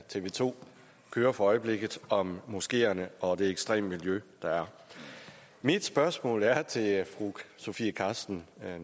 tv to kører for øjeblikket om moskeerne og de ekstreme miljøer der er mit spørgsmål er til fru sofie carsten